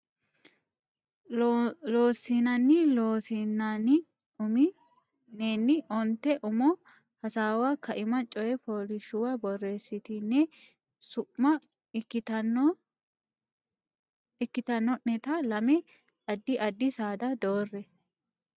Loossinanni Loossinanni umi nenni onte umo hasaawaho kaima coy fooliishshuwa borreessitine su ma ikkitanno neta lame addi addi saada doorre.